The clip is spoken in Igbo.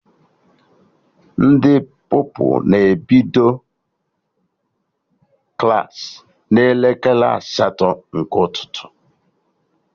Ndị Pupilụ na-ebido Klassị n'elekere asatọ nke ụtụtụ